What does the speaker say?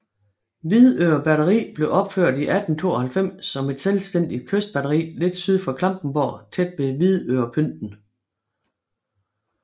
Hvidøre Batteri blev opført i 1892 som et selvstændigt kystbatteri lidt syd for Klampenborg tæt ved Hvidørepynten